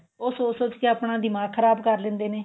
ਉਹ ਸੋਚ ਸੋਚ ਕੇ ਆਪਣਾ ਦਿਮਾਗ ਖਰਾਬ ਕ਼ਰ ਲੈਂਦੇ ਨੇ